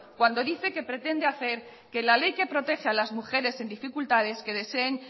cuando dice que pretende hacer que la ley que protege a las mujeres en dificultades que deseen